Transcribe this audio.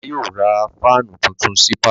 Bàbá yóò ra fáánù tuntun sí pálọ̀.